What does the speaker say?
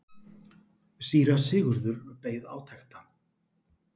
Síra Sigurður beið átekta.